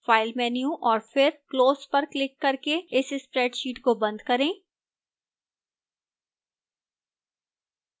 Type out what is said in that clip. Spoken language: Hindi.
file menu और फिर close पर क्लिक करके इस spreadsheet को बंद करें